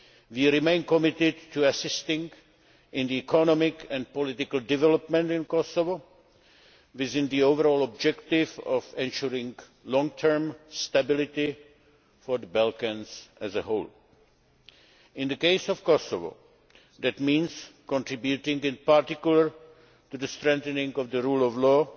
We remain committed to assisting in the economic and political development of Kosovo within the overall objective of ensuring long term stability for the Balkans as a whole. In the case of Kosovo, that means contributing in particular to strengthening of the rule of law,